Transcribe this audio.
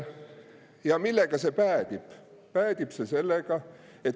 Ja millega see päädib?